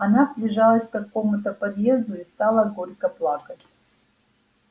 она прижалась к какому-то подъезду и стала горько плакать